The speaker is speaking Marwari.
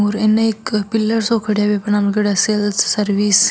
उर इने एक पिलर सो खड़े है नाम लिखेड़ो है सेल्स सर्विस --